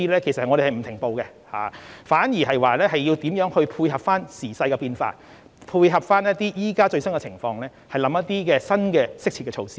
其實，我們並沒有停步，反而是考慮如何配合時勢變化、配合目前最新情況，推出一些新的適切措施。